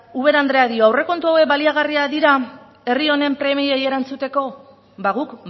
ubera andereak dio aurrekontu hauek baliagarriak dira herri honen premiei erantzuteko ba guk